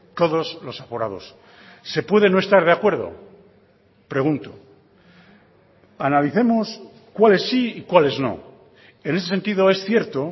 todos los aforados se puede no estar de acuerdo pregunto analicemos cuáles sí y cuáles no en ese sentido es cierto